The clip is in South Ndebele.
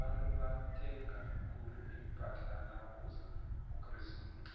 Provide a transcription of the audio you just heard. abantu bathenga khulu impahla nakuza ukresimusi